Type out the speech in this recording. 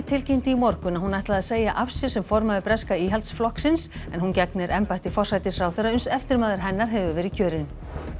tilkynnti í morgun að hún ætlaði að segja af sér sem formaður breska Íhaldsflokksins en hún gegnir embætti forsætisráðherra uns eftirmaður hennar hefur verið kjörinn